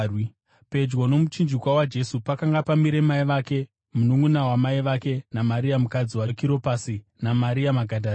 Pedyo nomuchinjikwa waJesu pakanga pamire mai vake, mununʼuna wamai vake, naMaria mukadzi waKiropasi, naMaria Magadharena.